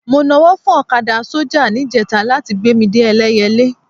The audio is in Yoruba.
Mo nawọ́ fún ọ̀kadà sọ́jà níjẹta láti gbé mi dé Ẹlẹ́yẹlé